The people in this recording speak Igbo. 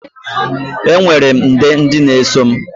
Enwere m nde ndị na-eso m.